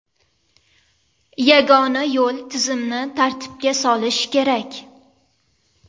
Yagona yo‘l tizimni tartibga solish kerak.